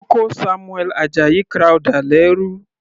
Wọ́n kó Samuel Ajayi Crowther lẹ́rú.